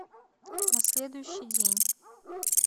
на следующий день